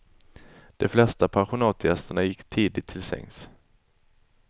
De flesta pensionatsgästerna gick tidigt till sängs.